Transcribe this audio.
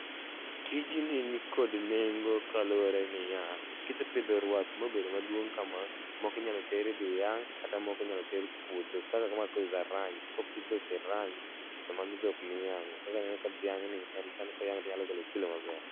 Tij ni kod nengo kaluwore ni ya kisepidho ruath mobedo maduong kama, moko inyalo ter idhi yang’ kata moko inyalo ter puodho kaka kama koro is a ranch. Kopidho kiranch to mago dhok miyang’o. Kaka ineno ka dhiang’ ni en sani koyang’e tonyalo golo kilo maber.